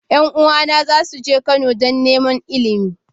Yan uwana za su je Kano don neman Ilimi.